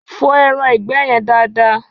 Fọ ẹraǹgbẹ́ yen dada!